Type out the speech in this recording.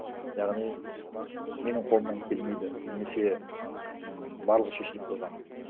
яғни менің қолымнан келмейді немесе м барлығы шешіліп қойған